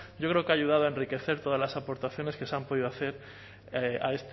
yo creo que ha ayudado a enriquecer todas las aportaciones que se han podido hacer